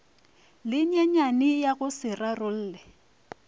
lenyenyane ya go se rarolle